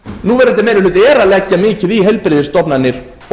núverandi meiri hluti er að leggja mikið í heilbrigðisstofnanir